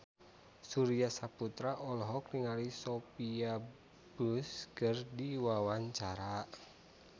Surya Saputra olohok ningali Sophia Bush keur diwawancara